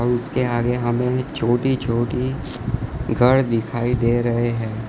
उसके आगे हमें छोटी छोटी घर दिखाई दे रहे है।